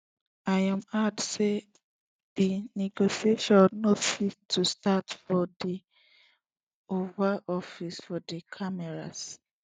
im add say di negotiation no fit to start for for di oval office for di cameras